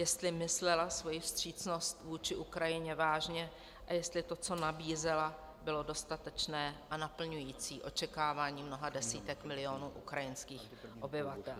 Jestli myslela svoji vstřícnost vůči Ukrajině vážně a jestli to, co nabízela, bylo dostatečné a naplňující očekávání mnoha desítek milionů ukrajinských obyvatel.